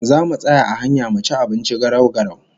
Zamu tsaya a hanya mu ci abinci garau-garau